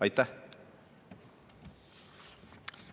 Aitäh!